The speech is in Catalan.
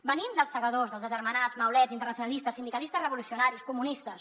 venim dels segadors dels agermanats maulets internacionalistes sindicalistes revolucionaris comunistes